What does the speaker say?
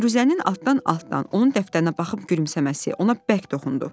Firuzənin altdan-altdan onun dəftərinə baxıb gülümsəməsi ona bərk toxundu.